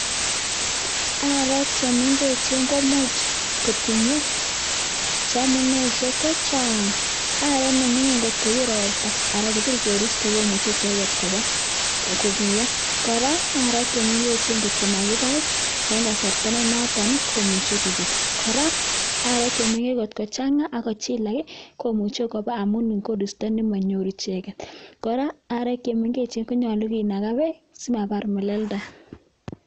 Aarek chemengechen komuch kotinyee amuneisiek chechang. Arwet nemingin angot kobiir roptaa anan kopir koristoo komuche kobaar icheket. kora aarek chemengechen angot komakibai en kasarta nenotok komuche koobek. Kora aarek chemengechen angot kochangaa ak kochilag i,komuche kobeek amun en koristop nemonyoru icheget, kora arek chemengechen konyolu kinagaa beek simabar meleldaa